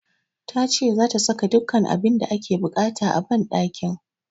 Ta ce zata saka dukkan abin da ake buƙata a banɗakin